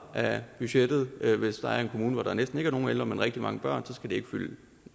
af budgettet hvis der er en kommune hvor der næsten ikke er nogen ældre men rigtig mange børn så skal det ikke fylde